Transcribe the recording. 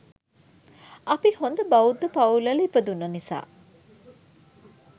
අපි හොඳ බෞද්ධ පවුල්වල ඉපදුණ නිසා